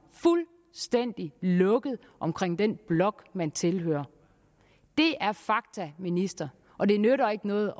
fuldstændig lukket omkring den blok man tilhører det er fakta ministeren og det nytter ikke noget